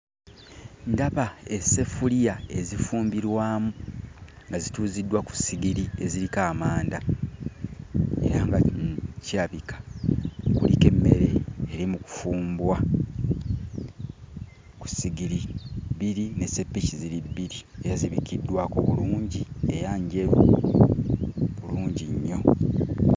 Ndaba esseffuliya ezifumbirwamu nga zituuziddwa ku sigiri eziriko amanda era nga kirabika kuliko emmere eri mu kufumbwa ku sigiri bbiri n'esseppiki ziri bbiri era zibikkiddwako bulungi era njeru bulungi nnyo.